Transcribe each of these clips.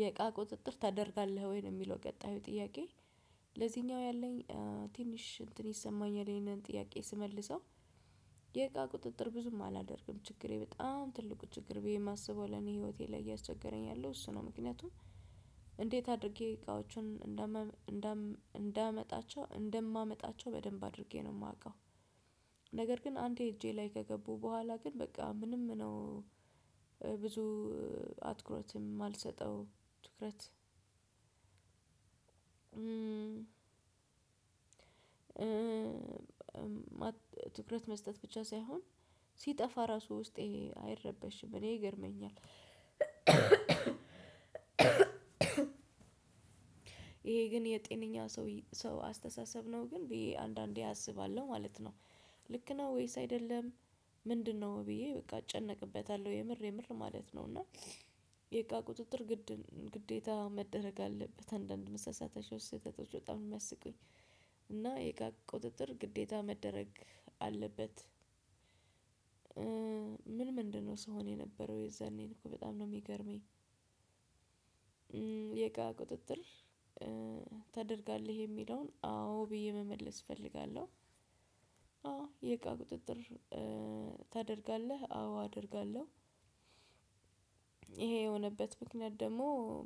የእቃ ቁጥጥር ታደርጋለህ ወይ የሚለው ቀጣዩ ጥያቄ? ለዚኛው ያለኝ ትንሽ እንትን ይሰማኛል ይሄንን ጥያቄ ስመልሰው። የቃ ቁጥጥር ብዙም አላደርግም ችግሬ በጣም ትልቁ ችግር ብዬ የማስበው ለኔ ህይወቴ ላይ እያስቸገረኝ ያለው እሱ ነው። ምክንያቱም እንዴት አድርጌ እቃዎቹን እንደም እንደማመጣቸው በደንብ አድርጌ ነው የማውቀው። ነገር ግን አንዴ እጄ ላይ ከገቡ በኋላ ግን በቃ ምንም ነው። ብዙ አትኩረትም አልሰጠው ትኩረት ትኩረት መስጠት ብቻ ሳይሆን ሲጠፋ ራሱ ውስጤ አይረበሽም እኔ ይገርመኛል። ይሄ ግን የጤነኛ ሰው አስተሳሰብ ነው ግን ብዬ አንዳንዴ አስባለሁ ማለት ነው። ልክ ነው ወይስ አይደለም? ምንድነው ብዬ በቃ እጨነቅበታለሁ የምር የምር ማለት ነው። እና የቃ ቁጥጥር ግዴታ መደረግ አለበት አንዳንድ መሳሳት ምሳሳታቸው ስህተቶች በጣም ነው የሚያስቁኝ። እና የቃ ቁጥጥር ግዴታ መደረግ አለበት። ምን ምንድነው ስሆን የነበረው የዛኔን እኮ በጣም ነው የሚገርመኝ። የቃ ቁጥጥር ታደርጋለህ የሚለውን አዎ ብዬ መመለስ እፈልጋለሁ። አዎ የቃ ቁጥጥር ታደርጋለህ አዎ አደርጋለሁ። ይሄ የሆነበት ምክንያት ደግሞ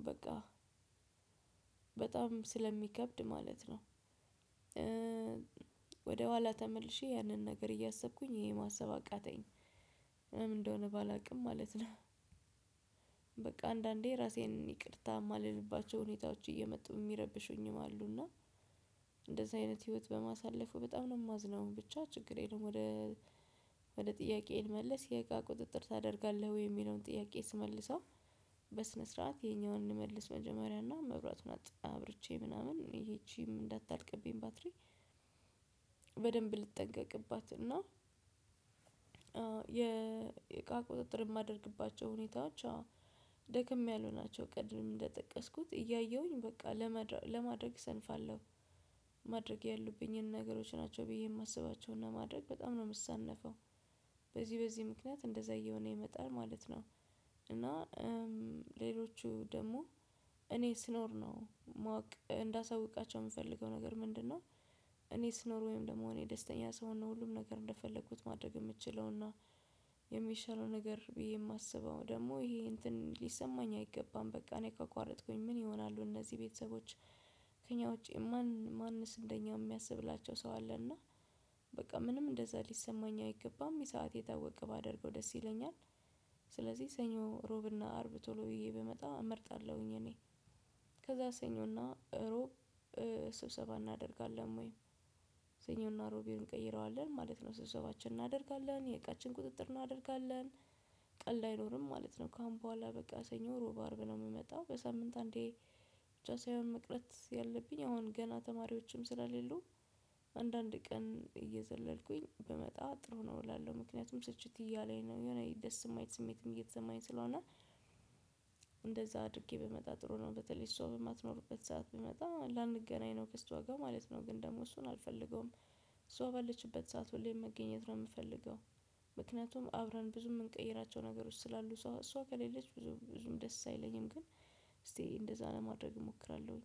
በቃ በጣም ስለሚከብድ ማለት ነው። ወደኋላ ተመልሼ ያንን ነገር እያሰብኩኝ ይሄ ማሰብ አቃተኝ። ምን እንደሆነ ባላውቅም ማለት ነው። በቃ አንዳንዴ ራሴን ይቅርታ የማልልባቸው ሁኔታዎች እየመጡ የሚረብሹኝም አሉና። እንደዚህ አይነት ህይወት በማሳለፉ በጣም ነው የማዝነው ብቻ ችግር የለም። ወደ ጥያቄ ልመልስ የእቃ ቁጥጥር ታደርጋለህ ወይ የሚለውን ጥያቄ ስመልሰው? በስነ ስርዓት የኛውን እንመልስ መጀመሪያና መብራቱን አብርቼ ምናምን ይቺም እንዳታልቅብኝ ባትሪ በደንብ ልጠንቀቅባት። እና የእቃ ቁጥጥር የማደርግባቸው ሁኔታዎች ደክም ያለ ናቸው። ቀድም እንደጠቀስኩት እያየሁኝ በቃ ለማድረግ ሰንፋለሁ። ማድረግ ያሉብኝን ነገሮች ናቸው ብዬ የማስባቸውን ለማድረግ በጣም ነው የምሳነፈው። በዚህ በዚህ ምክንያት እንደዛ እየሆነ ይመጣል ማለት ነው። እና ሌሎቹ ደግሞ እኔ ስኖር ነው ማወቅ እንዳሳውቃቸው የምፈልገው ነገር ምንድነው? እኔ ስኖር ወይም ደግሞ እኔ ደስተኛ ሰውን ሁሉም ነገር እንደፈለኩት ማድረግ የምችለው እና የሚሻለው ነገር ብዬ የማስበው ደግሞ ይሄ እንትን ሊሰማኝ አይገባም። በቃ እኔ ካቋረጥኩኝ ምን ይሆናሉ እነዚህ ቤተሰቦች። ከእኛ ውጪ ማን ማንስ እንደኛ የሚያስብላቸው ሰው አለ። እና በቃ ምንም እንደዛ ሊሰማኝ አይገባም። የሰዓቴ ታወቀ ባደርገው ደስ ይለኛል። ስለዚህ ሰኞ ሮብና አርብ ቶሎ ብዬ ብመጣ እመርጣለሁኝ። እኔ ከዛ ሰኞና ሮብ ስብሰባ እናደርጋለን ወይ ሰኞና ሮብን እንቀይረዋለን ማለት ነው። ስሰባችን እናደርጋለን የእቃችን ቁጥጥር እናደርጋለን። ቀልድ አይኖርም ማለት ነው። ካሁን በኋላ በቃ ሰኞ ሮብ አርብ ነው የምመጣው በሳምንት አንዴ። ብቻ ሳይሆን መቅረት ያለብኝ አሁን ገና ተማሪዎችም ስላሌሉ አንዳንድ ቀን እየዘለልኩኝ ብመጣ ጥሩ ነው እላለሁ ምክንያቱም ስልችት እያለኝ ነው የሆነ ደስ የማይል ስሜትም እየተሰማኝ ስለሆነ። እንደዛ አድርጌ ብመጣ ጥሩ ነው በተለይ እሷ በማትኖርበት ሰዓት ብመጣ ላንገናኝ ነው ከሷ ጋር ማለት ነው። ግን ደግሞ እሱን አልፈልገውም። እሷ ባለችበት ሰዓት ሁሌም መገኘት ነው የምፈልገው። ምክንያቱም አብረን ብዙ የምንቀይራቸው ነገሮች ስላሉ እሷ እሷ ከሌለች ብዙም ደስ አይለኝም። ግን እስቲ እንደዛ ለማድረግ እሞክራለሁኝ